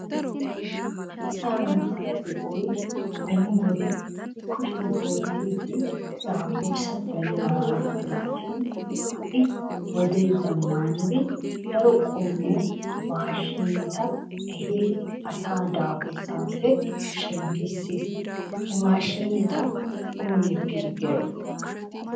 Asaa na"aa de"oy beni wode kushiyan oottiiddi daafursa daridaaga gidiraashin ha'i wodee zammaanidi daro qommo maashiineta ehiri asaa daafursaappe shemppissis. He maashineta oonee pilgiray?